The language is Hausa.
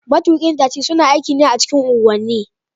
Matukin tasi suna aikin a cikin unguwanni